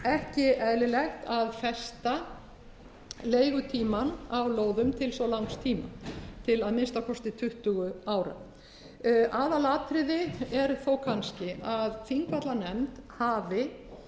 ekki eðlilegt að festa leigutímann á lóðum til svo langs tíma til að minnsta kosti tuttugu ára aðalatriði er þó kannski að þingvallanefnd hafi